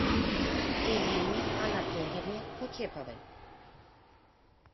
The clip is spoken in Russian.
элине анатольевне кутеповой